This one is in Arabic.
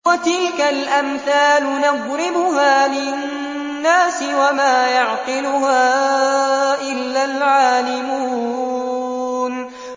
وَتِلْكَ الْأَمْثَالُ نَضْرِبُهَا لِلنَّاسِ ۖ وَمَا يَعْقِلُهَا إِلَّا الْعَالِمُونَ